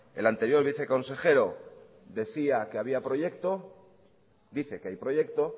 el anterior viceconsejero decía que había proyecto dice que hay proyecto